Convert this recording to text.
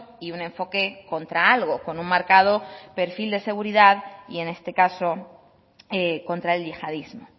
y un enfoque contra algo con un marcado perfil de seguridad y en este caso contra el yihadismo